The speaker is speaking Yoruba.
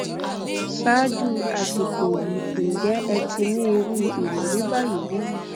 ṣáájú àsìkò yìí ǹjẹ ẹ ti ní irú ìrírí báyìí rí